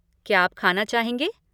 क्या आप खाना चाहेंगे?